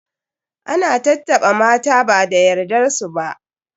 Ana tattaɓa mata ba da yardar su ba.